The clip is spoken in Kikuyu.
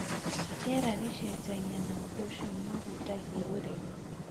Rĩera rĩcenjagia na ũndũ ũcio nĩ ũhutagia ũrĩmi.